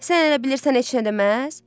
Sən elə bilirsən heç nə deməz?